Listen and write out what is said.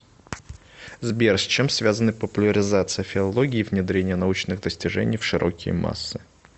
сбер с чем связаны популяризация филологии и внедрение научных достижений в широкие массы